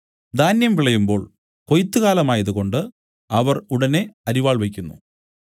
ധാന്യം വിളയുമ്പോൾ കൊയ്ത്തുകാലമായതുകൊണ്ട് അവൻ ഉടനെ അരിവാൾ വെയ്ക്കുന്നു